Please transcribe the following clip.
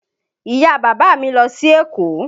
Ìyá-bàbá mi lọ sí Èkó.